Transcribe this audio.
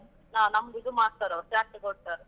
ಹಾ ನಮ್ದು ಇದು ಮಾಡ್ತಾರವರು care ತೊಗೋಳ್ತಾರೆ.